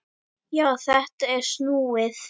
Já, þetta er snúið!